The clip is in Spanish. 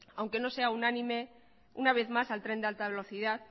aunque no sea unánime una vez más al tren de alta velocidad